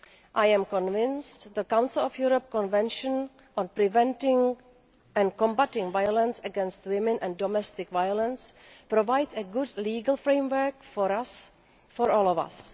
I am convinced that the Council of Europe Convention on preventing and combating violence against women and domestic violence provides a good legal framework for all of us.